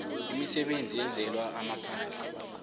imisebenzi eyenzelwa amaphandle